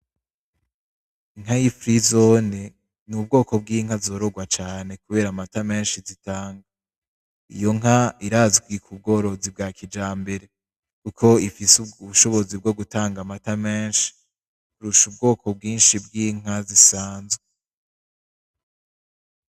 Inka y’ifrizone n’ubwoko bw’inka zororwa cane kubera amata menshi zitanga. Iyo nka irazwi ku bworozi bwa kijambere Kuko ifise ubushobozi bwo gutanga amata menshi kurusha ubwoko bwinshi bw’inka zisanzwe.